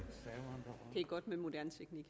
lyd